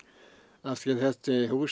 af því að þessi hús